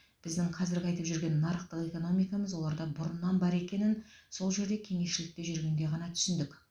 біздің қазіргі айтып жүрген нарықтық экономикамыз оларда бұрыннан бар екенін сол жерде кеңесшілікте жүргенде ғана түсіндік